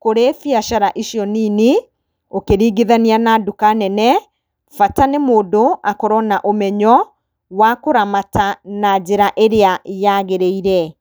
kũrĩ biacara icio nini, ũkĩringithania na nduka nene, bata nĩ mũndũ, akorwo na ũmenyo wa kũramata na njĩra ĩrĩa yagĩrĩire.